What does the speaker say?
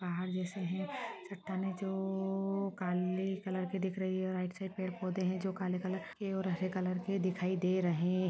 पहाड़ जैसा है पत्थर है जो काले कलर के दिख रही है और राइट साइड में पौधे हैं जो काले कलर के और हरे कलर के दिखाई दे रहे हैं।